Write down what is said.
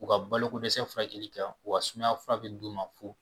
U ka balokodɛsɛ furakɛli kɛ u ka sumayafura bɛ d'u ma fu